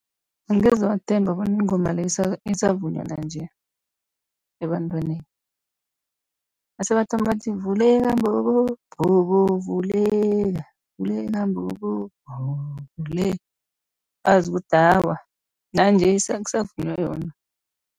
Angeze wathemba bona ingoma leyo isavunywa nanje ebantwaneni, nase bathoma bathi vuleka mbobo, mbobo vuleka, vuleka mbobo, mbobo vuleka, wazi ukuthi awa nanje kusavunywa yona.